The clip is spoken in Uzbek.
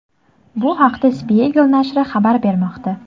Bu haqda Spiegel nashri xabar bermoqda .